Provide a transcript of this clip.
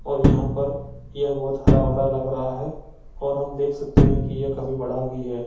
और यहाँ पर यह बहुत हरा भरा लग रहा है और हम देख सकते है की ये काफी बड़ा भी है।